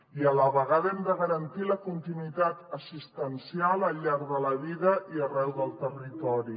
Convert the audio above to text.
i a la vegada hem de garantir la continuïtat assistencial al llarg de la vida i arreu del territori